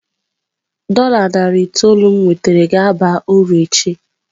Dola narị itoolu m nwetara ga-aba uru echi.